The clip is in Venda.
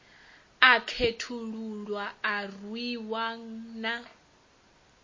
a khethululwa a rwiwa na